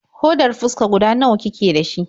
Hodar fuska guda nawa kike da shi?